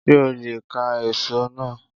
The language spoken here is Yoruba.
Sé o leè ká èso náà